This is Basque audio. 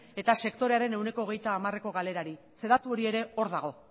eta sektorearen ehuneko hogeita hamareko galerari zeren eta datu hori ere hor dago